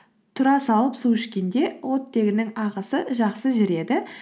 тұра салып су ішкенде оттегінің ағысы жақсы жүреді